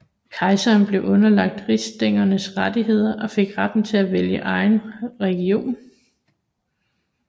Kejseren blev underlagt rigsstændernes rettigheder og fik retten til at vælge egen religion